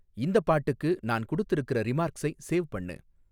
இந்தப் பாட்டுக்கு நான் குடுத்துருக்குற ரிமார்க்ஸை சேவ் பண்ணு